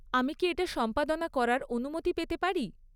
আমি কি এটা সম্পাদনা করার অনুমতি পেতে পারি?